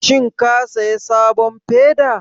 Shin ka saya sabon feda?